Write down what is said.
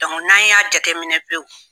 n'an y'a jateminɛ pewu